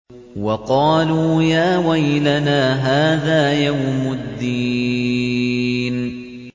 وَقَالُوا يَا وَيْلَنَا هَٰذَا يَوْمُ الدِّينِ